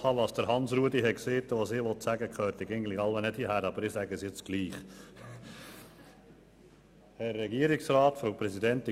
Nachdem ich das Votum von Grossrat Saxer gehört habe, dürfte das, was ich jetzt sagen will, nicht hierher gehören.